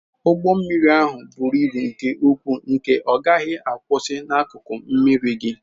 Ụgbọ mmiri ahụ buru ibu nke ukwuu nke na ọ gaghị akwusi n'akụkụ mmiri gị.